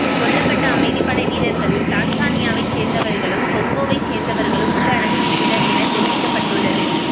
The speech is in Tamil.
கொல்லப்பட்ட அமைதிப்படை வீரர்களில் தான்சானியாவை சேர்ந்தவர்களும் கொங்கோவைச் சேர்ந்தவர்களும் உள்ளடங்குகின்றனர் என தெரிவிக்கப்பட்டுள்ளது